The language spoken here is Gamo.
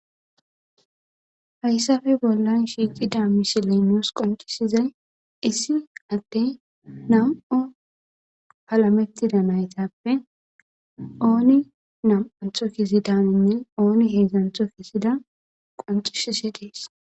Haysape bolan shiqida missilen nusi qonc'isizay issi adey nam'u shalametida naytape oni nam'anto kezidako oni hedzanti kezida qonc'sishe de'es.